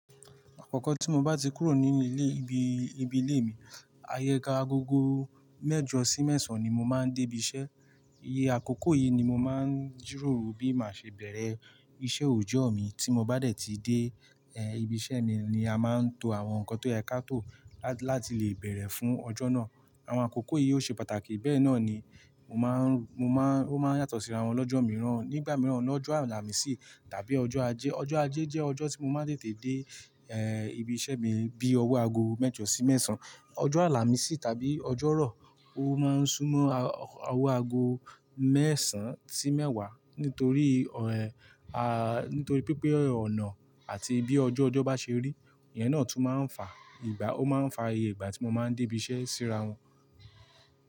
Àkọ́kọ́ tí mo bá ti kúrò ninu ilé, ibi, ibi ilé mi, ayéka agogo mẹ́jọ sí mẹ́sàn-án ni mo máa ń dé ibi iṣẹ́. Iye àkókò yìí ni mo máa ń jìrọ̀rùn bí màá ṣe bẹ̀rẹ̀ iṣẹ́ òòjọ́ mi. Tí mo bá dé tí dé, eh, ibi iṣẹ́ mi ni a máa ń to àwọn nǹkan tó yẹ kí á tó lá-láti lè bẹ̀rẹ̀ fún ọjọ́ náà. Àwọn àkókò yìí ó ṣe pàtàkì, bẹ́ẹ̀ náà ni mo máa ń, mo máa ń, ó máa ń yàtọ̀ síra wọn lọ́jọ́ mìíràn. Nígbà mìíràn, lọ́jọ́ Àlàmísì tàbí ọjọ́ Ajé. Ọjọ́ Ajé jẹ́ ọjọ́ tí mo máa tètè dé, ẹ́, ibi iṣẹ́ mi bí owó ago mẹ́jọ sí mẹ́sàn-án. Ọjọ́ Àlàmísì tàbí ọjọ́ rọ̀, ó máa ń súnmọ́ a-owó ago mẹ́sàn-án sí mẹ́wàá nítorí ọ̀rẹ́, a, nítorí pé pé ọ̀nà àti bí ọju ọjọ́ bá ṣe rí, ìyẹn náà tún máa ń fa ìgbà, ó máa ń fa iye ìgbà tí mo máa ń dé ibi iṣẹ́ síra wọn.